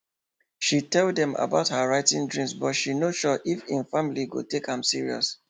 she tell them about her writing dream but she no sure if im family go take am serious